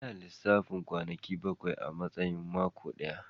Seven days are counted as one week